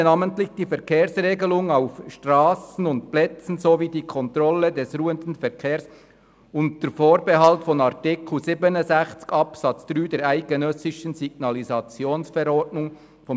«Verkehrsdienste, namentlich die Verkehrsregelung auf Strassen und Plätzen sowie die Kontrolle des ruhenden Verkehrs, unter Vorbehalt von Artikel 67 Absatz 3 der eidgenössischen Signalisationsverordnung […